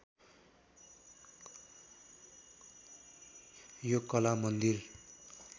यो कला मन्दिर